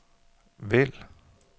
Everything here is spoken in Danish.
vælg